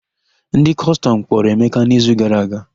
Ndị Kọstọm kpọrọ Emeka n'izu gara aga.